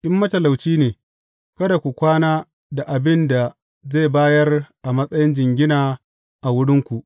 In matalauci ne, kada ku kwana da abin da zai bayar a matsayin jingina a wurinku.